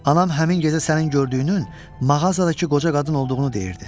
Anam həmin gecə sənin gördüyünün mağazadakı qoca qadın olduğunu deyirdi.